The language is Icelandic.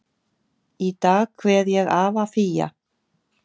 Í dag kveð ég afa Fía.